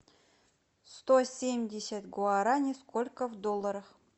сто семьдесят гуараней сколько в долларах